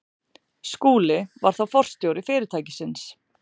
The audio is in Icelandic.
Skúli var þá forstjóri fyrirtækisins.